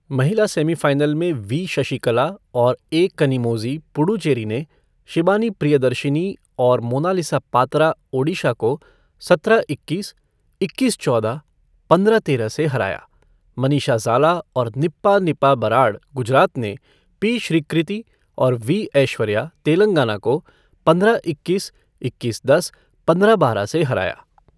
महिला सेमीफ़ाइनल में वी शशिकला और ए कनिमोझी, पुडुचेरी ने शिबानी प्रियदर्शिनी और मोनालिसा पात्रा, ओडिशा को सत्रह इक्कीस, इक्कीस चौदह, पंद्रह तेरह से हराया, मनीषा ज़ाला और निप्पा निपा बराड, गुजरात ने पी श्रीकृति और वी.ऐश्वर्या, तेलंगाना को पंद्रह इक्कीस, इक्कीस दस, पंद्रह बारह से हराया।